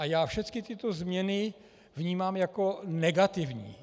A já všechny tyto změny vnímám jako negativní.